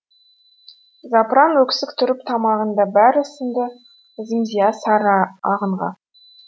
запыран өксік тұрып тамағында бәрі сіңді зымзия сары ағынға